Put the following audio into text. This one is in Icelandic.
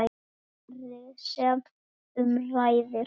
Svarið sem um ræðir